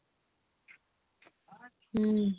ହୁଁ